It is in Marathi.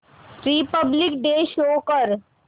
रिपब्लिक डे शो कर